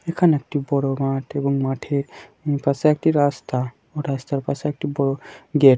এখনে একটি বড় মাঠ এবং মাঠের পাশে একটি রাস্তা ও রাস্তার পাশে একটি বর গেট।